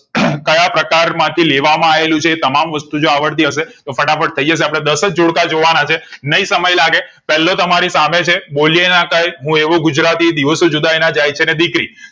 કયાપ્રકાર માંથી લેવા માં આયેલું છે એતમામ વસ્તુ જો આવડતી હશે તો ફટાફટ થઈ જશે અપડે દાસ જ જોડકા જોવા ના છે નાય સમય લાગે પેલો તમારી સામે છે બોલયે ના આતાયે હું એવો ગુજરાતી દિવસો જુદાઈ ના જાય છે ને દીકરી